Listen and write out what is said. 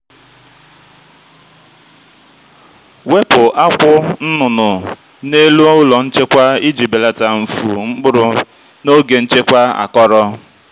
ejila ọgwụ ahụhụ mgbe oke ikuku ma ọ bụ mmiri ozuzo ọ na-ebelata irè.